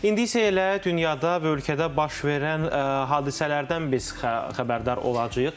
İndi isə elə dünyada və ölkədə baş verən hadisələrdən biz xəbərdar olacağıq.